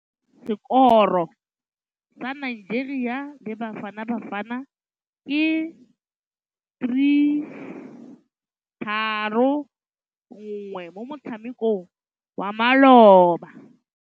Sekôrô sa Nigeria le Bafanabafana ke 3-1 mo motshamekong wa malôba.